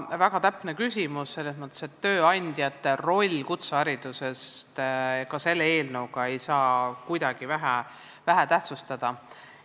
Väga täpne küsimus selles mõttes, et tööandjate rolli kutsehariduses ei saa ka selle eelnõu puhul kuidagi vähetähtsustada.